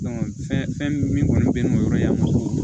fɛn min min kɔni bɛ n bolo yɔrɔjan ma